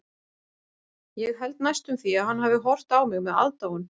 Ég held næstum því að hann hafi horft á mig með aðdáun.